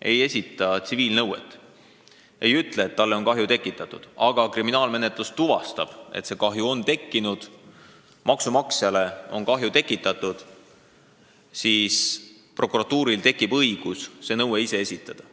ei esita tsiviilnõuet – ei ütle, et talle on kahju tekitatud –, aga kriminaalmenetlus tuvastab, et kahju on tekkinud, maksumaksjale on kahju tekitatud, siis prokuratuuril tekib õigus see nõue ise esitada.